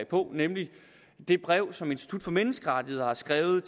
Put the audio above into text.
på nemlig det brev som institut for menneskerettigheder har skrevet